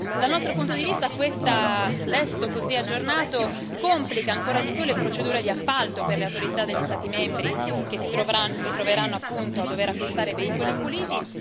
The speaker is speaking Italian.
Dal nostro punto di vista questo testo, così aggiornato, complica ancora di più le procedure di appalto per le autorità degli Stati membri che si troveranno a dover acquistare veicoli puliti.